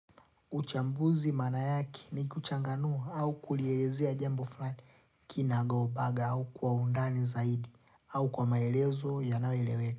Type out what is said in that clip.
Uchambuzi maana yake ni kuchanganua au kulielezea jambo fulani kinagaubaga au kwa undani zaidi au kwa maelezo yanayoeleweka.